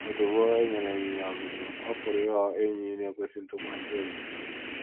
Ozugbo e nyere ịnyịnya ọzụzụ, ọ pụrụ ịghọ enyi na - ekwesị ntụkwasị obi.